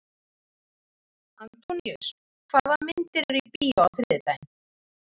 Antóníus, hvaða myndir eru í bíó á þriðjudaginn?